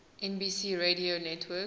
nbc radio network